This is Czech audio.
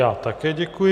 Já také děkuji.